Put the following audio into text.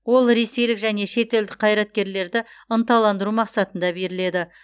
ол ресейлік және шетелдік қайраткерлерді ынталандыру мақсатында беріледі